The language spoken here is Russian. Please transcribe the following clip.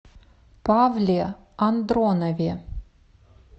павле андронове